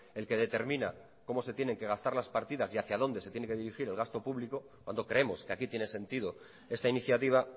el que determina cómo se tienen que gastar las partidas y hacia dónde se tiene que dirigir el gasto público cuando creemos que aquí tiene sentido esta iniciativa